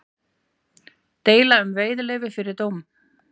Deila um veiðileyfi fyrir dóm